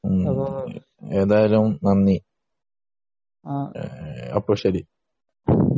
ഏതായാലും നന്ദി അപ്പൊ ശരി